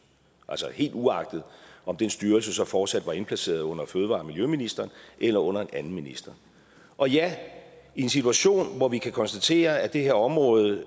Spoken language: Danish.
altså helt uagtet om den styrelse så fortsat var indplaceret under miljø og fødevareministeren eller under en anden minister og ja i en situation hvor vi kan konstatere at det her område